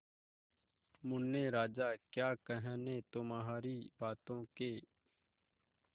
मुन्ने राजा क्या कहने तुम्हारी बातों के